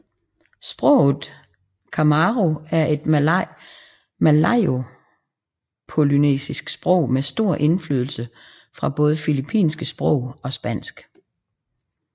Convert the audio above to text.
Sproget chamorro er et malayopolynesisk sprog med stor indflydelse fra både filippinske sprog og spansk